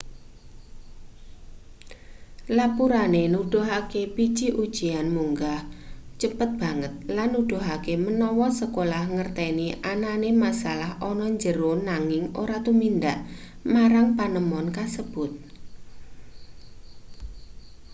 lapurane nuduhake biji ujian munggah cepet banget lan nuduhake menawa sekolah ngerteni anane masalah ana jero nanging ora tumindak marang panemon kasebut